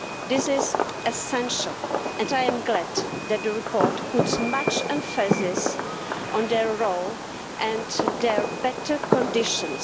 This is essential and I am glad that the report puts much emphasis on their role and their better conditions.